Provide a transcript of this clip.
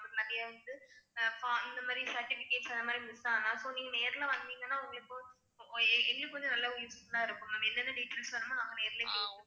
நிறைய வந்து இந்த மாதிரி certificates அந்த மாதிரி miss ஆனா இப்போ நீங்க நேர்ல வந்தீங்கன்னா உங்களுக்கு கொஞ்சம் நல்லா useful ஆ இருக்கும் நம்ம என்னென்ன details வேணுமோ நேரிலேயே கேக்கலாம்